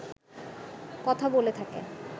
কথা বলে থাকে